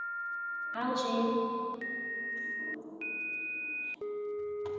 આવજે